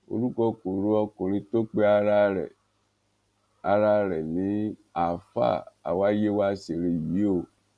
orúkọ kò ro ọkùnrin tó pe ara rẹ ara rẹ̀ ní ààfáà awáyéwáṣere yìí o